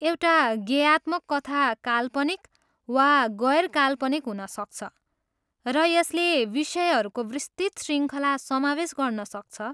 एउटा गेयात्मक कथा काल्पनिक वा गैर काल्पनिक हुन सक्छ, र यसले विषयहरूको विस्तृत शृङ्खला समावेश गर्न सक्छ।